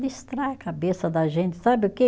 Distrai a cabeça da gente, sabe o quê?